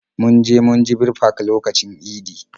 Mun je munjibir park lokacin idi